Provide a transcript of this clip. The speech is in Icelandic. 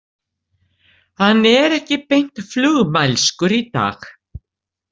Hann er ekki beint flugmælskur í dag.